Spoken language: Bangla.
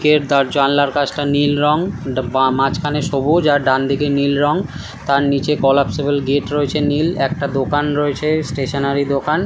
কের তার জালনা কাঁচটা নীল রঙ। ডা বা মাঝখানে সবুজ আর ডানদিকে নীল রং। তার নিচে কলাপসিবল গেট রয়েছে নীল। একটা দোকান রয়েছে স্টেশনারি দোকান।